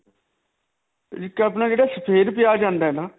ਇੱਕ ਆ ਜਿਹੜਾ ਅਪਣਾ ਸਫੇਦ ਪਿਆਜ ਆਉਂਦਾ ਹੈ ਨਾ.